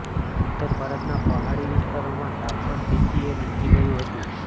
ઉત્તર ભારતના પહાડી વિસ્તારોમાં તાપમાન તેથીએ નીચું ગયું હતું